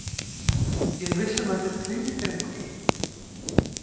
Ég er viss um að þetta er prýðisdrengur.